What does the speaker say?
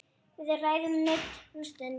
Við ræðum nudd um stund.